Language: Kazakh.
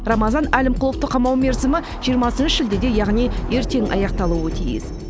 рамазан әлімқұловты қамау мерзімі жиырма бесінші шілдеде яғни ертең аяқталуы тиіс